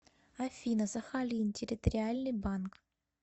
афина сахалин территориальный банк